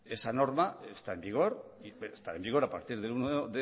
esa norma está en vigor está en vigor a partir del uno